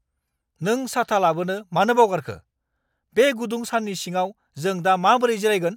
नों साथा लाबोनो मानो बावगारखो? बे गुदुं साननि सिङाव जों दा माबोरै जिरायगोन?